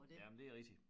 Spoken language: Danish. Jamen det rigtigt